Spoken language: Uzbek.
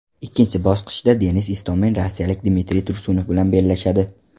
Ikkinchi bosqichda Denis Istomin rossiyalik Dmitriy Tursunov bilan bellashadi.